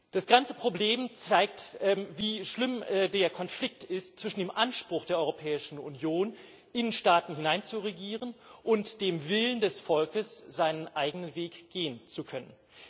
Das ganze Problem zeigt, wie schlimm der Konflikt ist zwischen dem Anspruch der Europäischen Union, in Staaten hineinzuregieren, und dem Willen des Volkes, seinen eigenen Weg gehen zu können.